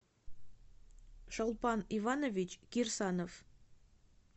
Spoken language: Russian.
шолпан иванович кирсанов